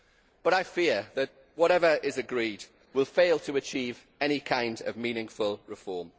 But I fear that whatever is agreed will fail to achieve any kind of meaningful reform.